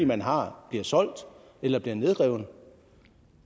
man har bliver solgt eller bliver nedrevet